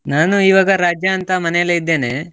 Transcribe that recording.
ನಾನು ಇವಾಗ ರಜಾ ಅಂತ ಮನೇಲೆ ಇದ್ದೇನೆ.